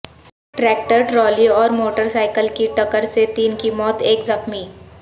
tractor trolley اور motorcycle کی ٹکر سے تین کی موت ایک زخمی